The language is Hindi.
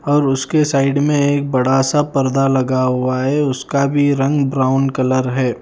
और उसके साइड में एक बड़ा सा पर्दा लगा हुआ है उसका भी रंग ब्राउन कलर है।